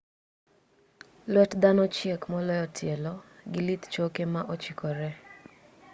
luet dhano chiek moloyo tielo gi lith choke ma ochikore